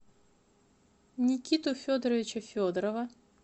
никиту федоровича федорова